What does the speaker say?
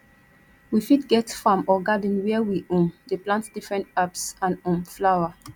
we fit get farm or garden where we um dey plant different herbs and um flower